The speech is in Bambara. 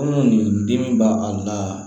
Kɔnɔ nin dimi b'a a la